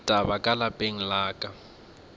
ditaba ka lapeng la ka